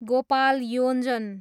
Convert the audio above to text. Gopal Yonjan